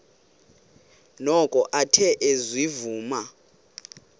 noko athe ezivuma